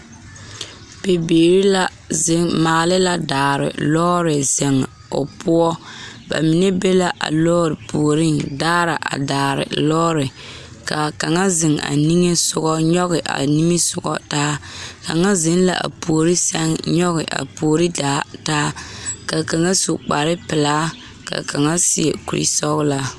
Bibiiri la ziŋ maala la daare lɔɔre ziŋ o poɔ ba mine be la a lɔre puoriŋ daara a daare lɔɔre kaa kaŋa ziŋ a nige sɔgɔ nyɔge a nimisɔgɔ taa kaŋa ziŋ la a puori sɛŋ a nyɔge a puori daa taa ka kaŋa su kpare pilaa ka kaŋa seɛ kure sɔglaa.